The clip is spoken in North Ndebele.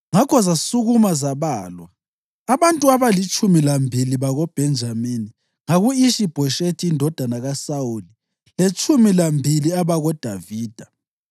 Ngakho zasukuma zabalwa, abantu abalitshumi lambili bakoBhenjamini ngaku-Ishi-Bhoshethi indodana kaSawuli letshumi lambili abakoDavida.